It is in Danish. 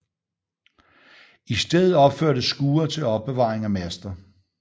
I stedet opførtes skure til opbevaring af master